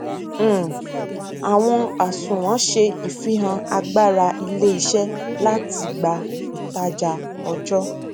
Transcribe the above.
um àwọn àsunwon ṣe ìfihàn agbára iléiṣẹ láti gba ìtajà ọjọ